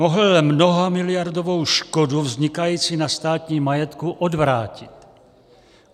Mohl mnohamiliardovou škodu vznikající na státním majetku odvrátit.